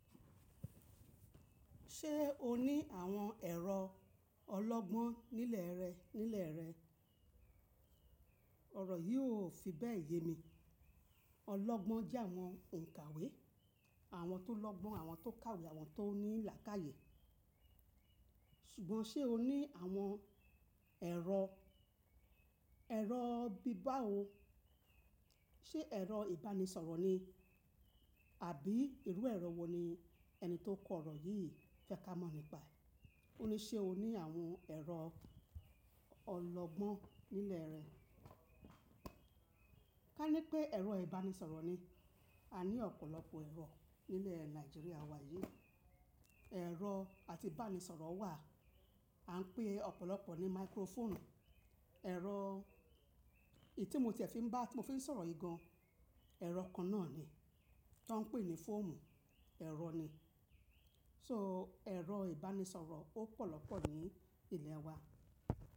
Ṣé o ní àwọn ẹ̀rọ ọlọ́gbọ́n nílẹ̀ rẹ̀ nílẹ̀ rẹ̀? Ọ̀rọ̀ yìí ò fi bẹ́ẹ̀ yé mi. Ọlọ́gbọ́n jẹ́ àwọn òǹkàwé, àwọn tó lọ́gbọ́n, àwọn tó kàwé, àwọn tó ní làákàyè. Ṣùgbọ́n ṣe o ní àwọn ẹ̀rọ, ẹ̀rọ bíbá wo? Ṣé ẹ̀rọ ìbánisọ̀rọ̀ ni? Àbí irú ẹ̀rọ wo ni ẹni tó kọ ọ̀rọ̀ yìí fẹ́ ká mọ̀ nípa? Ó ní, ṣe o ní àwọn ẹ̀rọ ọlọ́gbọ́n nílẹ̀ rẹ̀? Ká ní pé ẹ̀rọ ìbánisọ̀rọ̀ ni, a ní ọ̀pọ̀lọpọ̀ ẹ̀rọ nílẹ̀ Nàìjíríà wa yìí. Ẹ̀rọ àti bánisọ̀rọ̀ wà, a ń pè ọ̀pọ̀lọpọ̀ ní máíkrófọ̀ọ̀nù. Ẹ̀rọ èyí tí mo tiẹ̀ fi ń bá tí mo fi ń sọ̀rọ̀ yìí gan, ẹ̀rọ kan náà ni, tó ń pè ní fóònù, ẹ̀rọ ni. So, ẹ̀rọ ìbánisọ̀rọ̀ ó pọ̀ lọ́pọ̀ ní ìlẹ̀ wa.